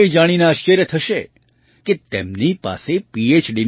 તમને એ જાણીને આશ્ચર્ય થશે કે તેમની પાસે પીએચ